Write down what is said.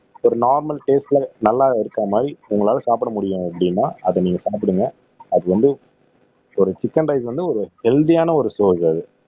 ஒரு நார்மல் டேஸ்ட்ல நல்லா இருக்கிற மாதிரி உங்களால சாப்பிட முடியும் அப்படின்னா அத நீங்க சமைக்கறீங்க அது வந்து ஒரு சிக்கன் ரைஸ் வந்து ஒரு ஹெல்த்தியான ஒரு சோர்ஸ் அது